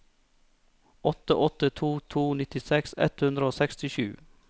åtte åtte to to nittiseks ett hundre og sekstisju